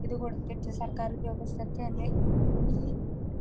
ഇത് കൊടുത്തിട്ട് സർക്കാർ ഉദ്യോഗസ്ഥർക്ക് തന്നെ ഈ ഈ